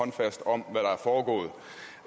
og